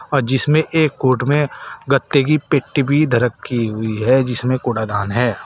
और जिसमें एक कोर्ट में गत्ते की पेटी भी धर रखी हुई है जिसमें कूड़ादान है।